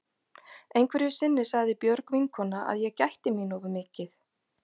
Einhverju sinni sagði Björg vinkona að ég gætti mín of mikið.